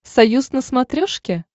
союз на смотрешке